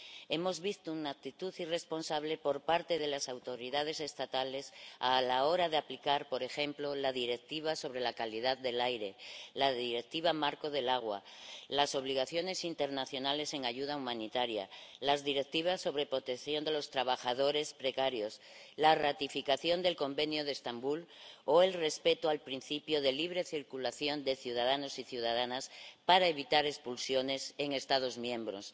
Hemos visto una actitud irresponsable por parte de las autoridades estatales a la hora de aplicar, por ejemplo, la Directiva sobre la calidad del aire, la Directiva marco del agua, las obligaciones internacionales en ayuda humanitaria, las Directivas sobre protección de los trabajadores precarios, la ratificación del Convenio de Estambul o el respeto al principio de libre circulación de ciudadanos y ciudadanas para evitar expulsiones en Estados miembros.